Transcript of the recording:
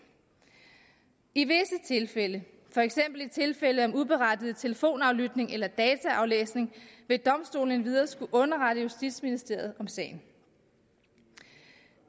i visse tilfælde for eksempel i tilfælde om uberettiget telefonaflytning eller dataaflæsning vil domstolene endvidere skulle underrette justitsministeriet om sagen